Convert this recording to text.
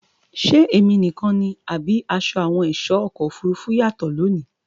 Ṣé èmi nìkan ni, àbí asọ àwọn èsó ọkọ̀ òfurufú yàtọ̀ lòní?